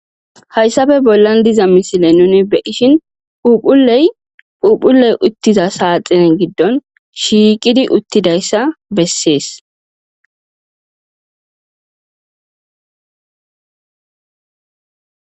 hayssafe bollan diza misile nuni be'ishin phuphuley phuphuley uttiza saaxinen giddon shiiqidi uttidayssa bessees